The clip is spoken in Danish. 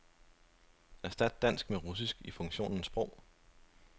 Erstat dansk med russisk i funktionen sprog.